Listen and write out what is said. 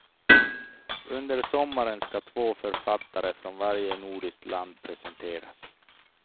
Under sommaren ska två författare från varje nordiskt land presenteras.